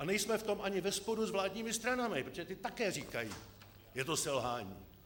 A nejsme v tom ani ve sporu s vládními stranami, protože ty také říkají: je to selhání.